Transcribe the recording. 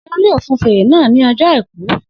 Seun yóò fun fèrè náà ní ọjọ́ àìkú